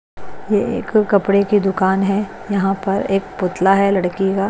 ये एक कपड़े की दुकान है यहां पर एक पुतला है लड़की का।